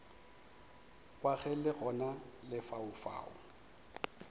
wa ge le gona lefaufau